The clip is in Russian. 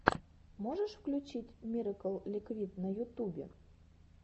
можешь включить мирэкл ликвид на ютубе